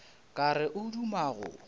ka re o duma go